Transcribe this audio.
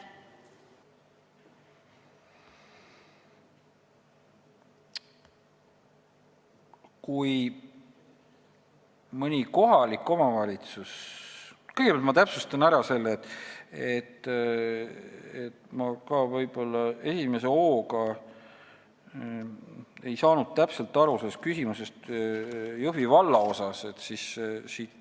Kõigepealt ma täpsustan, et ma esimese hooga ei saanud täpselt aru sellest küsimusest Jõhvi valla kohta.